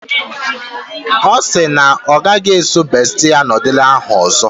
Ọ sị na ọ gaghị esi bestie nudul ahụ ọzọ.